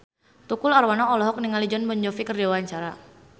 Tukul Arwana olohok ningali Jon Bon Jovi keur diwawancara